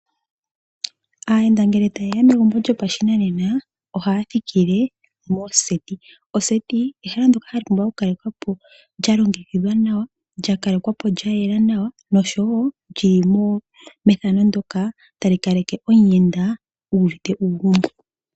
Ayenda ngele tayeya megumbo lyopashinanena oha thikile moseti , oseti ehala ndjoka lyapumbwa oku kalekwapo lyalongekidhwa nawa lyakalekwapo lyayela nawa nosho wo lyili methano moka tali kaleke omuyenda uvite uugumbo.